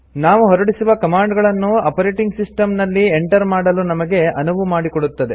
ನಾವು ಹೊರಡಿಸುವ ಕಮಾಂಡ್ ಗಳನ್ನು ಆಪರೇಟಿಂಗ್ ಸಿಸ್ಟಂ ನಲ್ಲಿ ಎಂಟರ್ ಮಾಡಲು ನಮಗೆ ಅನುವು ಮಾಡಿಕೊಡುತ್ತದೆ